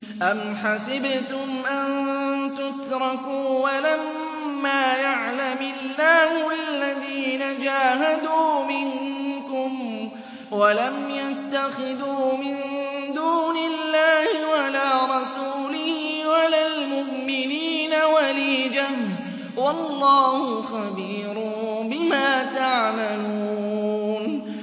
أَمْ حَسِبْتُمْ أَن تُتْرَكُوا وَلَمَّا يَعْلَمِ اللَّهُ الَّذِينَ جَاهَدُوا مِنكُمْ وَلَمْ يَتَّخِذُوا مِن دُونِ اللَّهِ وَلَا رَسُولِهِ وَلَا الْمُؤْمِنِينَ وَلِيجَةً ۚ وَاللَّهُ خَبِيرٌ بِمَا تَعْمَلُونَ